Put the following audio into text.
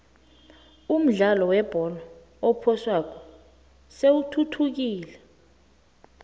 umdlalo webholo ephoswako seyithuthukile